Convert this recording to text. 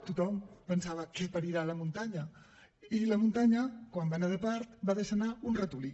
tothom pensava què parirà la muntanya i la muntanya quan va anar de part va deixar anar un ratolí